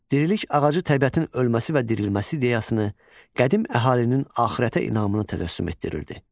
Dirilik ağacı təbiətin ölməsi və dirilməsi ideyasını qədim əhalinin axirətə inamını tədassüm etdirirdi.